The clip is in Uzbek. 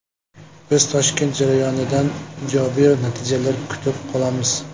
Biz Toshkent jarayonidan ijobiy natijalar kutib qolamiz.